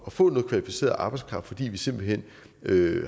at få noget kvalificeret arbejdskraft fordi vi simpelt hen